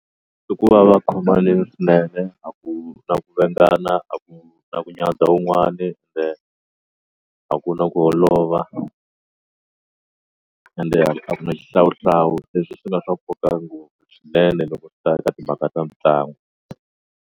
I ku va va khomanile swinene a ku na ku a ku na ku nyadzha wun'wani ende a ku na ku holova ende a ku na xihlawuhlawu leswi swi nga swa nkoka ngopfu swinene loko swi ta eka timhaka ta mitlangu.